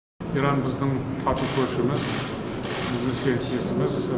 иран біздің тату көршіміз біздің серіктесіміз